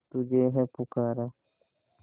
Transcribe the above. तुझे है पुकारा